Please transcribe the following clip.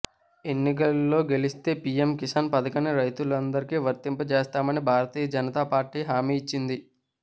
ఎన్నికల్లో గెలిస్తే పీఎం కిసాన్ పథకాన్ని రైతులందరికీ వర్తింపజేస్తామని భారతీయ జనతా పార్టీ హామీ ఇచ్చింది